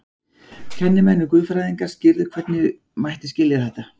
Kennimenn og guðfræðingar skýrðu hvernig mætti skilja þetta.